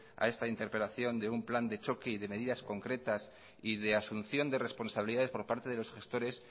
a esta interpelación de un plan de choque y de medidas concretas y de asunción de responsabilidades por parte de los gestores